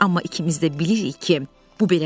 Amma ikimiz də bilirik ki, bu belə deyil.